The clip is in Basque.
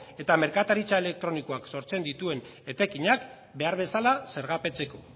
eta merkataritza elektronikoak sortzen dituen etekinak behar bezala zergapetzeko